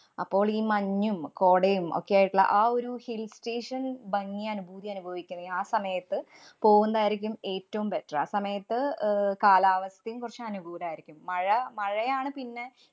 അപ്പോള്‍ ഈ മഞ്ഞും, കോടേം ഒക്കെ ആയിട്ടുള്ള ആ ഒരു hill station ഭംഗീം, അനുഭൂതീം അനുഭവിക്കണേ ആ സമയത്ത് പോകുന്നതായിരികും ഏറ്റവും better. ആ സമയത്ത് അഹ് കാലാവസ്ഥേം കുറച്ചു അനുകൂലായിരിക്കും. മഴ മഴയാണ് പിന്നെ.